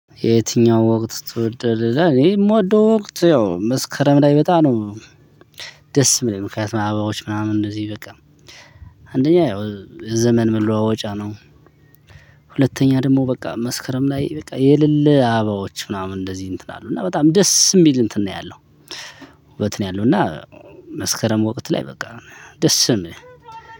የትኛው ወቅት ትወዳለህ? ይላል እኔ የምወደው ወቅት ያው መስከረም ላይ በጣም ነው። ደስ የሚለኝ ምክንያቱም አባዎች ምናምን እንደዚህ በቃ አንደኛ ያው የዘመን መለዋወጫ ነው። ሁለተኛ ደግሞ በቃ መስከረም ላይ በቃ የልለ አባዎች ምናምን እንደዚህ እንትን አሉ እና በጣም ደስ የሚል እንትን ነው ያለው። ውበት ነው ያለው እና መስከረም ወቅት ላይ በቃ ደስ ስም።